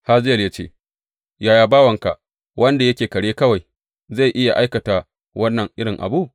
Hazayel ya ce, Yaya bawanka, wanda yake kare kawai, zai iya aikata wannan irin abu?